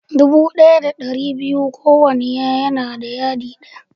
Dubu ɗaya da ɗari biyu ko wanna yadi ɗaya.